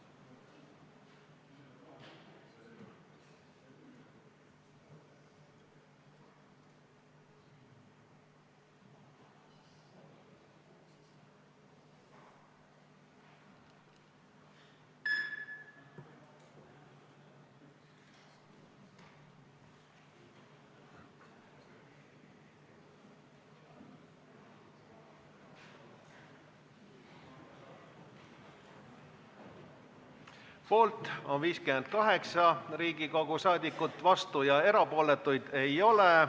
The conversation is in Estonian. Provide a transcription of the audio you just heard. Hääletustulemused Poolt on 58 Riigikogu liiget, vastuolijaid ja erapooletuid ei ole.